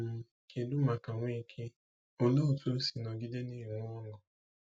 um Kedu maka Nweke—olee otú o si nọgide na-enwe ọṅụ?